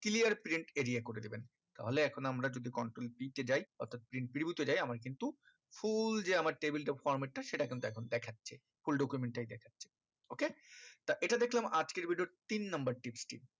clear print area করে দেবেন তাহলে এখন আমরা যদি control p তে যাই অর্থাৎ print preview তে যাই আমাকে কিন্তু full যে আমার table of format তা সেটা কিন্তু এখন দেখাচ্ছে full document টাই দেখাচ্ছে ok তা এটা দেখলাম আজকের video র তিন number tips টি